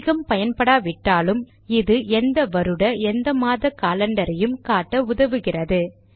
அதிகம் பயன்படாவிட்டாலும் இது எந்த வருட எந்த மாத காலண்டரையும் பார்க்க உதவுகிறது